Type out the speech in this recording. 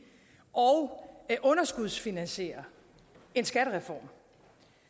og underskudsfinansiere en skattereform